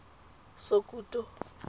sokuto